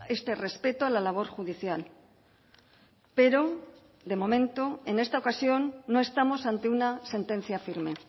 este respeto a la labor judicial pero de momento en esta ocasión no estamos ante una sentencia firme